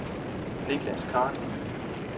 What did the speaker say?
Nicklas Khan